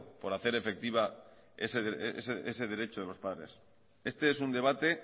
por hacer efectiva ese derecho de los padres este es un debate